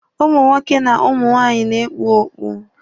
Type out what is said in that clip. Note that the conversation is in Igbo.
Ụmụ nwoke na ụmụ nwaanyị na-ekpu okpu.